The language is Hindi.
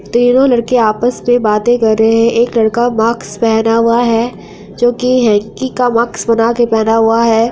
तीनो लड़के आपस में बाते कर रहे है एक लड़का मास्क पहना हुआ है जो की हैंकी मास्क बना के पहना हुआ है।